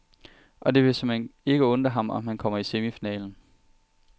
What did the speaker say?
Og det vil såmænd ikke undre ham, om han kommer i semifinalen.